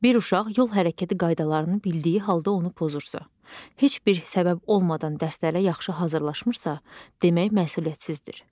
Bir uşaq yol hərəkəti qaydalarını bildiyi halda onu pozursa, heç bir səbəb olmadan dərslərə yaxşı hazırlaşmırsa, demək məsuliyyətsizdir.